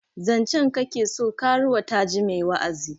Zancen ka ke so? karuwa ta ji mai wa'azi